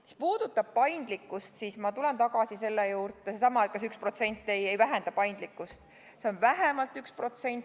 Mis puudutab paindlikkust – seesama, et kas üks protsent ei vähenda paindlikkust –, siis ma tulen tagasi selle juurde, et see on vähemalt 1%.